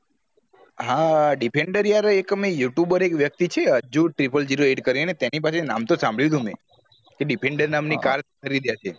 હા defender યાર એક મેં you tuber વ્યક્તિ છે અજ્જુ ત્રિપલ zero eight કરી ને તેની પાસે નામ તો સામભડિયું તું મેં defender નામ ની car ખરીદી હતી